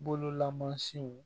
Bololamansiw